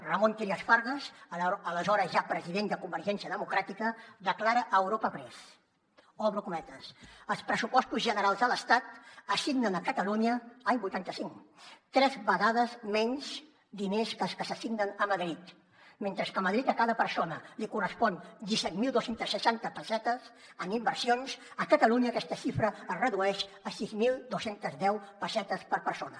ramon trias fargas aleshores ja president de convergència democràtica declara a europa press obro cometes els pressupostos generals de l’estat assignen a catalunya any vuitanta cinc tres vegades menys diners que els que s’assignen a madrid mentre que a madrid a cada persona li correspon disset mil dos cents i seixanta pessetes en inversions a catalunya aquesta xifra es redueix a sis mil dos cents i deu pessetes per persona